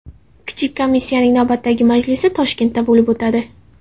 Kichik komissiyaning navbatdagi majlisi Toshkentda bo‘lib o‘tadi.